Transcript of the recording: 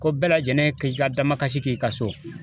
Ko bɛɛ lajɛlen k'i ka damakasi k'i ka so